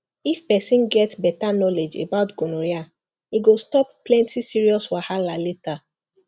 if person get better knowledge about gonorrhea e go stop plenty serious wahala later